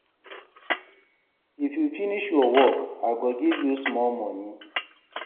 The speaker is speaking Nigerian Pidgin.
If you finish your work, I go give you small moni.